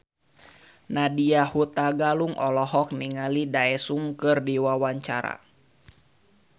Nadya Hutagalung olohok ningali Daesung keur diwawancara